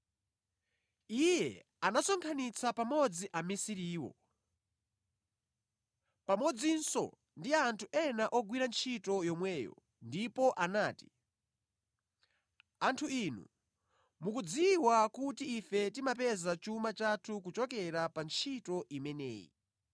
Iye anasonkhanitsa pamodzi amisiriwo, pamodzinso ndi anthu ena ogwira ntchito yomweyo ndipo anati, “Anthu inu, mukudziwa kuti ife timapeza chuma chathu kuchokera pa ntchito imeneyi.